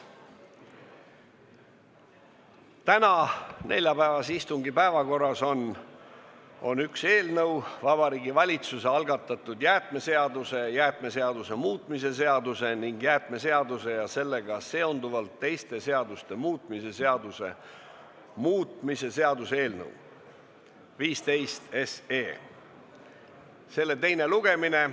Tänase, neljapäevase istungi päevakorras on üks punkt: Vabariigi Valitsuse algatatud jäätmeseaduse, jäätmeseaduse muutmise seaduse ning jäätmeseaduse ja sellega seonduvalt teiste seaduste muutmise seaduse muutmise seaduse eelnõu 15 teine lugemine.